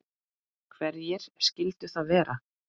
Hverjir skyldu það vera?